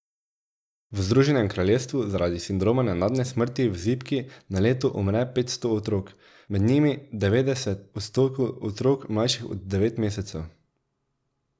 V Združenem kraljestvu zaradi sindroma nenadne smrti v zibki na leto umre petsto otrok, med njimi devetdeset odstotkov otrok, mlajših od devet mesecev.